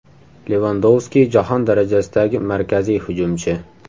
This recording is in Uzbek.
Levandovski jahon darajasidagi markaziy hujumchi.